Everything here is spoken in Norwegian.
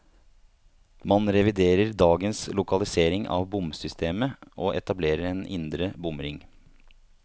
Man reviderer dagens lokalisering av bomsystemet, og etablerer en indre bomring.